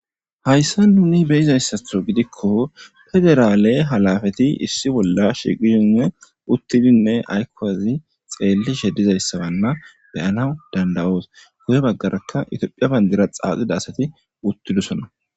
Hayssa nuni beyizayssatho gidikko federaale halafati issi bolla shiqihine uttidinne aykowazi xeellishe dizayssabanna beyana dandawoos guye baggarakka itophiya bandira xaaxida asati wuttidusonna